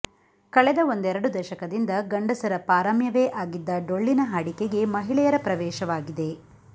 ಕಳೆದ ಒಂದೆರಡು ದಶಕದಿಂದ ಗಂಡಸರ ಪಾರಮ್ಯವೇ ಆಗಿದ್ದ ಡೊಳ್ಳಿನ ಹಾಡಿಕೆಗೆ ಮಹಿಳೆಯರ ಪ್ರವೇಶವಾಗಿದೆ